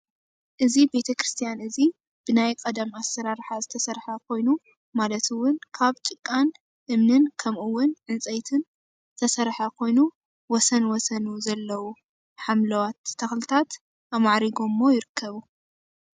እዚ ቤተክርስትያን እዚ ብናይ ቀደም ኣሰራርሓ ዝተሰርሐ ኮይኑ ማለት እውን ካብ ጭቃን እምንን ከምኡ እውን ዕንፀይትን ዝተሰርሐ ኮይኑ ወሰን ወሰኑ ዘለዉ ሓምለዋት ተኽልታት ኣማዕሪጎሞ ይርከቡ፡፡